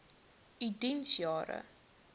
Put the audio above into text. u diens jare